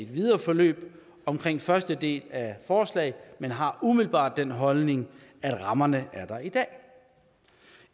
videre forløb omkring første del af forslaget men har umiddelbart den holdning at rammerne er der i dag